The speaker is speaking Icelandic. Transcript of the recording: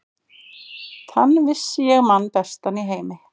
Þann vissi ég mann bestan í heimi.